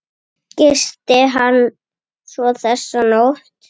Gisti hann svo þessa nótt?